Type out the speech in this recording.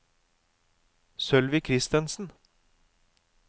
Sølvi Kristensen